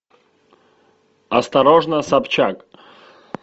осторожно собчак